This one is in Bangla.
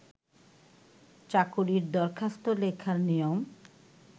চাকরির দরখাস্ত লেখার নিয়ম